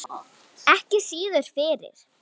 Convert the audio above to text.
Ekki síður fyrir